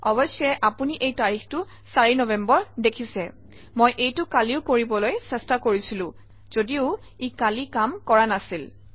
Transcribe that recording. অৱশ্যেই আপুনি এই তাৰিখটো ৪ নৱেম্বৰ দেখিছে মই এইটো কালিও কৰিবলৈ চেষ্টা কৰিছিলো যদিও ই কালি কাম কৰা নাছিল